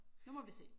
Nu må vi se